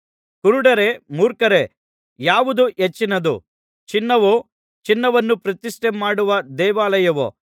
ಕುರುಡರೇ ಮೂರ್ಖರೇ ಯಾವುದು ಹೆಚ್ಚಿನದು ಚಿನ್ನವೋ ಚಿನ್ನವನ್ನು ಪ್ರತಿಷ್ಠೆ ಮಾಡುವ ದೇವಾಲಯವೋ